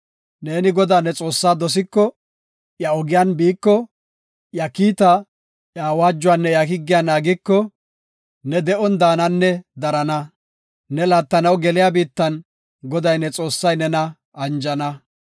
Ne Godaa, ne Xoossaa dosiko, iya ogiyan biiko, iya kiitaa, iya awaajuwanne iya higgiya naagiko, ne de7on daananne darana. Ne laattanaw geliya biittan Goday, ne Xoossay nena anjana.